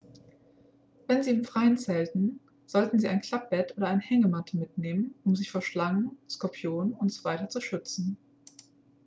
wenn sie im freien zelten sollten sie ein klappbett oder eine hängematte mitnehmen um sich vor schlangen skorpionen usw. zu schützen